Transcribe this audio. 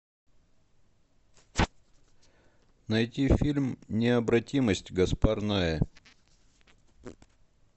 найти фильм необратимость гаспар ноэ